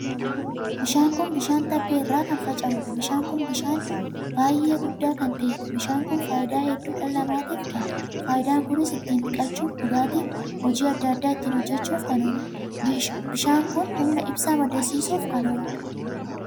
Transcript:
Bishaan kun bishaan tabba irraa kan fincaa'uudha. Bishaan kun bishaan baay'ee guddaa kan taheedha. Bishaan kun faayidaa hedduu dhala namaatiif kenna. Faayidaan kunis ittiin dhiqachuuf, dhugaatii fi hojii addaa addaa ittiin hojjechuuf kan ooluudha. Bishaan kun humna ibsaa maddisiisuuf kan ooludha.